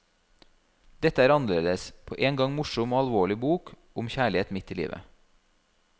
Dette er en annerledes, på en gang morsom og alvorlig bok om kjærlighet midt i livet.